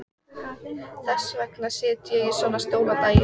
Þess vegna sit ég í svona stól á daginn.